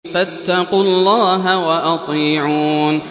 فَاتَّقُوا اللَّهَ وَأَطِيعُونِ